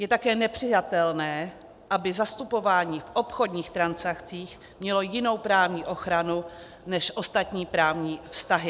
Je také nepřijatelné, aby zastupování v obchodních transakcích mělo jinou právní ochranu než ostatní právní vztahy.